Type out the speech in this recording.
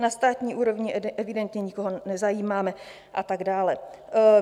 Na státní úrovni evidentně nikoho nezajímáme a tak dále.